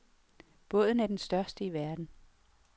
Båden er den største i verden.